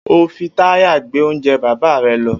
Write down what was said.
O óò fi tírè gbé oúnje̩ bàbá re̩ lo̩!